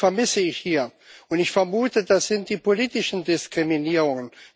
Die vermisse ich hier, und ich vermute, das sind die politischen Diskriminierungen.